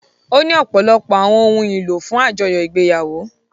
Ó ní ọ̀pọ̀lọpọ̀ àwọn ohun ìlò fún àjọyọ̀ ìgbéyàwó.